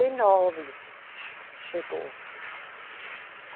e nove. Che, chegou